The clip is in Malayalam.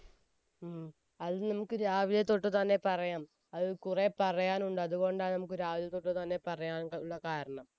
ഉം അത് നമ്മുക്ക് രാവിലെതോട് തന്നെ പറയാം അത് കുറെ പറയാനുണ്ട് അതുകൊണ്ടാണ് നമ്മുക്ക് രാവിലെതൊട്ട് തന്നെ പറയാനുള്ള കാരണം